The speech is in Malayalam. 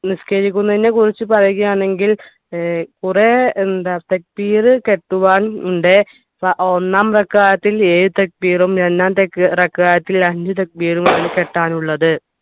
നിസ്കരിക്കുന്നതിനെ കുറിച്ച് പറയുകയാണെങ്കിൽ ഏർ കുറേ എന്താ കെട്ടുവാൻ ഉണ്ട് പ ഒന്നാം എഴു രണ്ടാം അഞ്ചു ആണ് കെട്ടാൻ ഉള്ളത്